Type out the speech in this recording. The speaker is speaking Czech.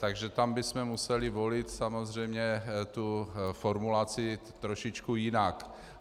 Takže tam bychom museli volit samozřejmě tu formulaci trošičku jinak.